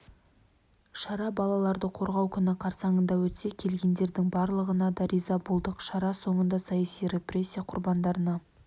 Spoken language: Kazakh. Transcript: шара балаларды қорғау күні қарсаңында өтсе келгендердің барлығына да риза болдық шара соңында саяси репрессия құрбандарына